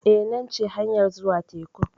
Eh, nan ce hanyar zuwa tekun.